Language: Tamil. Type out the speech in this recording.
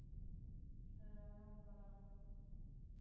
அது என்னவோ உண்மைதான்